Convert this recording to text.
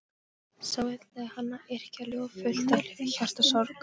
Svo ætlaði hann að yrkja ljóð, fullt af hjartasorg.